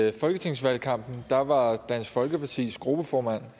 i folketingsvalgkampen var var dansk folkepartis gruppeformand